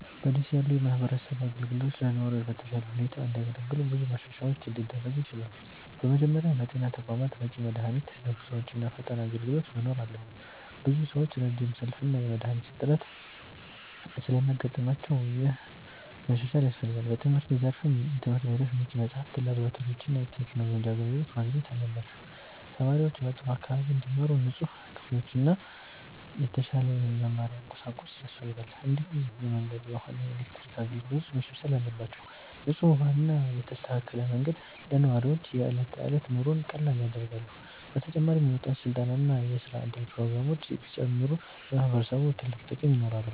በ ደሴ ያሉ የማህበረሰብ አገልግሎቶች ለነዋሪዎች በተሻለ ሁኔታ እንዲያገለግሉ ብዙ ማሻሻያዎች ሊደረጉ ይችላሉ። በመጀመሪያ በጤና ተቋማት በቂ መድሃኒት፣ ዶክተሮች እና ፈጣን አገልግሎት መኖር አለበት። ብዙ ሰዎች ረጅም ሰልፍ እና የመድሃኒት እጥረት ስለሚያጋጥማቸው ይህ መሻሻል ያስፈልጋል። በትምህርት ዘርፍም ትምህርት ቤቶች በቂ መጽሐፍት፣ ላብራቶሪዎች እና የቴክኖሎጂ አገልግሎት ማግኘት አለባቸው። ተማሪዎች በጥሩ አካባቢ እንዲማሩ ንጹህ ክፍሎችና የተሻለ የመማሪያ ቁሳቁስ ያስፈልጋል። እንዲሁም የመንገድ፣ የውሃ እና የኤሌክትሪክ አገልግሎቶች መሻሻል አለባቸው። ንጹህ ውሃ እና የተስተካከለ መንገድ ለነዋሪዎች የዕለት ተዕለት ኑሮን ቀላል ያደርጋሉ። በተጨማሪም የወጣቶች ስልጠና እና የስራ እድል ፕሮግራሞች ቢጨምሩ ለማህበረሰቡ ትልቅ ጥቅም ይኖራል።